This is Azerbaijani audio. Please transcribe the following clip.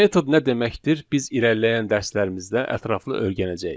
Metod nə deməkdir biz irəliləyən dərslərimizdə ətraflı öyrənəcəyik.